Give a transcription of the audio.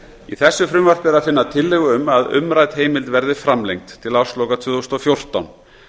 í þessu frumvarpi er að finna tillögu um að umrædd heimild verði framlengd til ársloka tvö þúsund og fjórtán